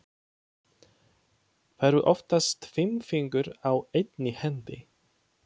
Það eru oftast fimm fingur á einni hendi.